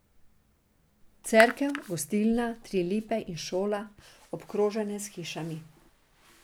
Cerkev, gostilna, tri lipe in šola, obkrožene s hišami.